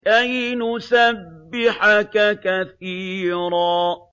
كَيْ نُسَبِّحَكَ كَثِيرًا